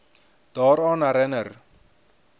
daaraan herin ner